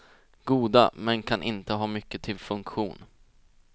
Goda men kan inte ha mycket till funktion.